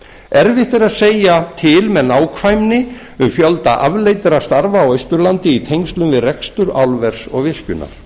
erfitt verður að segja til með nákvæmni um fjölda afleiddra starfa á austurlandi í tengslum við rekstur álvers og virkjunar